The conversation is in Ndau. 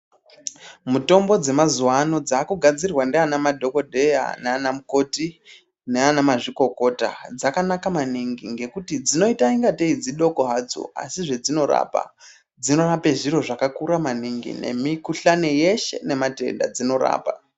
Mutombo dzemazuwano dzakugadzirwa ndiana madhokodheya nana mukoti nana mazvikokota dzakanaka maningi ngekuti dzainoita ingatei dzidoko hadzo asi zvedzinorapa dzinorapwe zviro zvakakura maningi nemikhuhlani yeshe ngematenda dzinorapa.